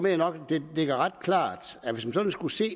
jeg nok at det ligger ret klart at hvis man sådan skulle se